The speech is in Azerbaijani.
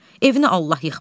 Evini Allah yıxmasın.